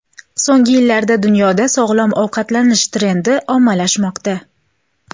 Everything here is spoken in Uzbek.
So‘nggi yillarda dunyoda sog‘lom ovqatlanish trendi ommalashmoqda.